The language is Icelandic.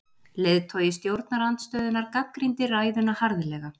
Leiðtogi stjórnarandstöðunnar gagnrýndi ræðuna harðlega